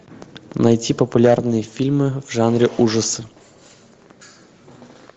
найти популярные фильмы в жанре ужасы